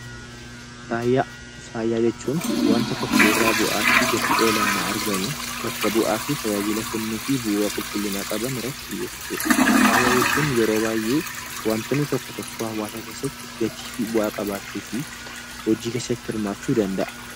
Faaya. Faaya jechuun wanta tokko irra bu'aa fi gatii olaanaa argamu bakka bu'aa fi tajaajila kennufl fi bu'uura qulqullinnaa qabaan irratti xiyyefatuudha. Faaya jechuun yeroo baay'ee wantonnl tokko tokkoo hawaasa keessatti gatii fi bu'aa qabachuu fi hojii keessatti hirmachuu danda'a.